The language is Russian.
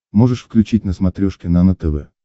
можешь включить на смотрешке нано тв